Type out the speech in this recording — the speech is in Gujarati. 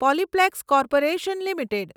Polyplex corporation limited